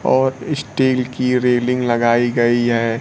और स्टील की रेलिंग लगाई गई है।